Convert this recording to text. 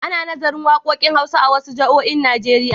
Ana nazarin waƙoƙin hausa a wasu jami'oin Najeriya.